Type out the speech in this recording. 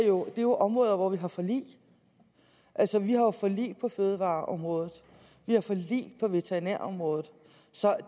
jo er områder hvor vi har forlig altså vi har forlig på fødevareområdet vi har forlig på veterinærområdet så